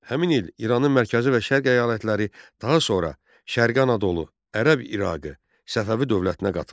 Həmin il İranın mərkəzi və şərq əyalətləri daha sonra Şərqi Anadolu, Ərəb İraqı Səfəvi dövlətinə qatıldı.